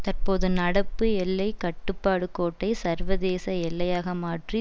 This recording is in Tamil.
தற்போது நடப்பு எல்லை கட்டுப்பாடு கோட்டை சர்வதேச எல்லையாக மாற்றி